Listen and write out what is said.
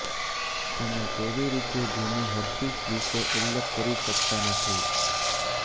તમે કેવી રીતે જીની હર્પીસ વિશે ઉલ્લેખ કરી શકતા નથી